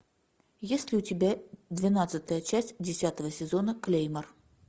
есть ли у тебя двенадцатая часть десятого сезона клеймор